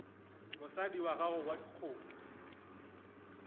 mosadi wa gago wa dikgomo